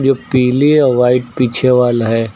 जो पीली और व्हाइट पीछे वाला है।